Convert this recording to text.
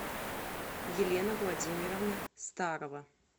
елена владимировна старова